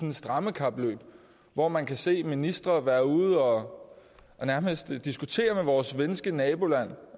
et strammekapløb hvor man kan se ministre være ude og nærmest diskutere med vores svenske naboland